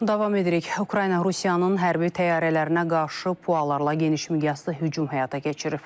Davam edirik, Ukrayna Rusiyanın hərbi təyyarələrinə qarşı PUA-larla geniş miqyaslı hücum həyata keçirib.